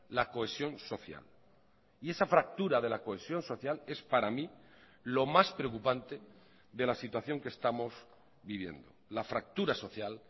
la cohesión social y esa fractura de la cohesión social es para mí lo más preocupante de la situación que estamos viviendo la fractura social